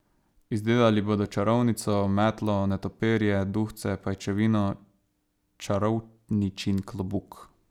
Izdelali bodo čarovnico, metlo, netopirje, duhce, pajčevino, čarovničin klobuk ...